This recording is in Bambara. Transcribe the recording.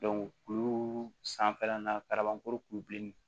kuru sanfɛla na kabako kulu min